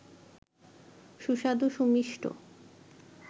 সুস্বাদু সুমিষ্ট